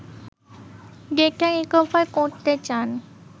data recover করতে চান